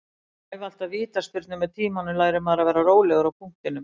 Ég æfi alltaf vítaspyrnur, með tímanum lærir maður að vera rólegur á punktinum.